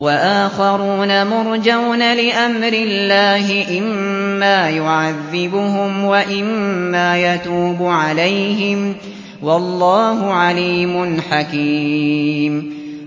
وَآخَرُونَ مُرْجَوْنَ لِأَمْرِ اللَّهِ إِمَّا يُعَذِّبُهُمْ وَإِمَّا يَتُوبُ عَلَيْهِمْ ۗ وَاللَّهُ عَلِيمٌ حَكِيمٌ